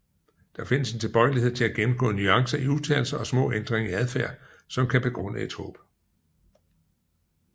Der findes en tilbøjelighed til at gennemgå nuancer i udtalelser og små ændringer i adfærd som kan begrunde et håb